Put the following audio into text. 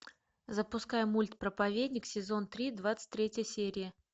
запуская мульт проповедник сезон три двадцать третья серия